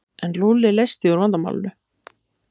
En Lúlli leysti úr vandamálinu.